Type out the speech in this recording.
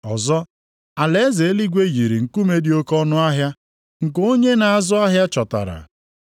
“Ọzọ, alaeze eluigwe yiri nkume dị oke ọnụahịa nke onye na-azụ ahịa chọtara.